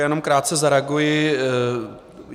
Já jenom krátce zareaguji.